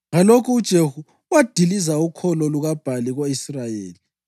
Ngalokho uJehu wadiliza ukholo lukaBhali ko-Israyeli.